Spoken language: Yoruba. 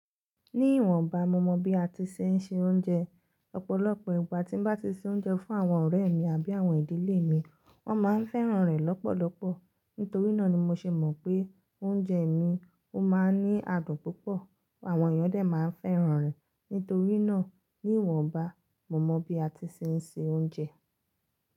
Ní ìwọ̀nba, mo mọ bí a ti ṣe ń se oúnjẹ. Ọ̀pọ̀lọpọ̀ ìgbà tí n bá ti se oúnjẹ fún àwọn ọ̀rẹ́ mi àbí àwọn ìdílé mi, wọ́n máa ń fẹ́ràn rẹ̀ lọ́pọ̀lọpọ̀. Nítorí náà ni mo ṣe mọ̀ pé oúnjẹ mi ó máa ń ní adùn púpọ̀. Àwọn èèyàn dé máa ń fẹ́ràn rẹ̀. Nítorí náà, ní ìwọ̀nba, mo mọ bí a ti ṣe ń se oúnjẹ.